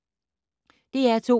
DR2